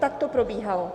Tak to probíhalo.